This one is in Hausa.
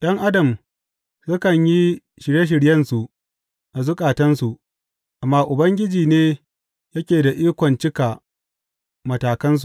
’Yan Adam sukan yi shirye shiryensu a zukatansu, amma Ubangiji ne yake da ikon cika matakansa.